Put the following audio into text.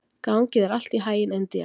Gangi þér allt í haginn, Indía.